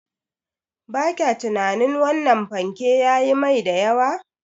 Ba kya tunanin wannan fanke yayi mai da yawa?